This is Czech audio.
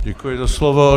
Děkuji za slovo.